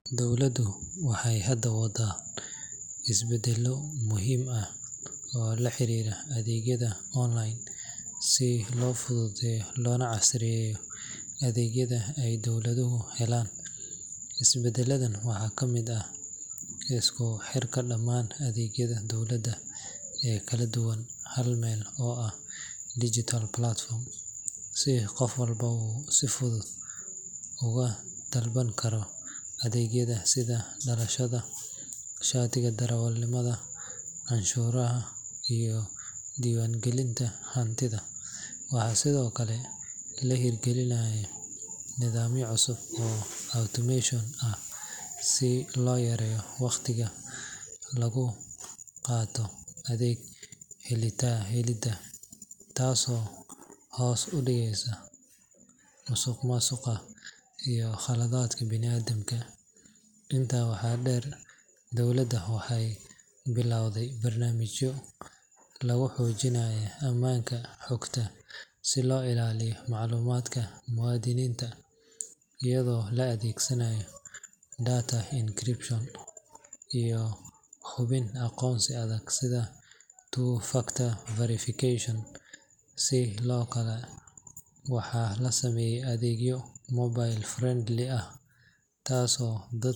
Dowladdu waxay hadda wadaan isbeddelo muhiim ah oo la xiriira adeegyada online si loo fududeeyo loona casriyeeyo adeegyada ay dadweynuhu helaan. Isbeddeladan waxaa ka mid ah isku xirka dhammaan adeegyada dowladda ee kala duwan hal meel oo ah digital platform, si qof walba uu si fudud uga dalban karo adeegyada sida dhalashada, shatiga darawalnimada, canshuuraha, iyo diiwaangelinta hantida. Waxaa sidoo kale la hirgelinayaa nidaamyo cusub oo automation ah si loo yareeyo waqtiga lagu qaato adeeg helidda, taasoo hoos u dhigaysa musuqmaasuqa iyo khaladaadka bini'aadamka. Intaa waxaa dheer, dowladda waxay bilowday barnaamijyo lagu xoojinayo ammaanka xogta si loo ilaaliyo macluumaadka muwaadiniinta, iyadoo la adeegsanayo data encryption iyo hubin aqoonsi adag sida two-factor authentication. Sidoo kale, waxaa la sameeyay adeegyo mobile-friendly ah, taasoo dad.